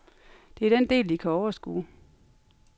Det er den del, de kan overskue.